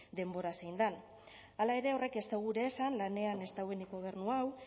denbora zein den hala ere horrek ez dau gura esan lanean ez dagoenik gobernu hau